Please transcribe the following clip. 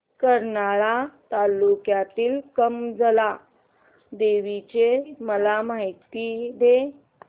करमाळा तालुक्यातील कमलजा देवीची मला माहिती दे